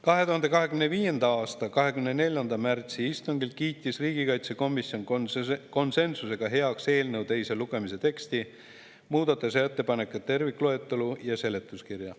2025. aasta 24. märtsi istungil kiitis riigikaitsekomisjon konsensusega heaks eelnõu teise lugemise teksti, muudatusettepanekute tervikloetelu ja seletuskirja.